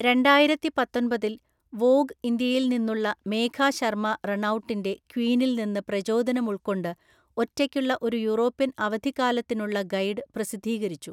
രണ്ടായിരത്തിപത്തൊന്‍പതില്‍, Vogue ഇന്ത്യയിൽ നിന്നുള്ള മേഘാ ശർമ്മ റണൗട്ടിന്‍റെ ക്വീനിൽനിന്ന് പ്രചോദനമുൾക്കൊണ്ട് ഒറ്റയ്ക്കുള്ള ഒരു യൂറോപ്യൻ അവധിക്കാലത്തിനുള്ള ഗൈഡ് പ്രസിദ്ധീകരിച്ചു.